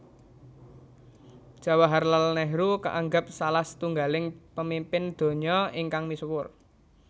Jawaharlal Nehru kaanggep salah setunggiling pamimpin donya ingkang misuwur